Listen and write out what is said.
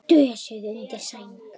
Dösuð undir sæng.